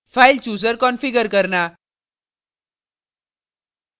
file chooser configure करना